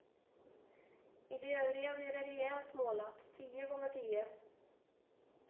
I de övriga blir det rejält målat, tio gånger tio.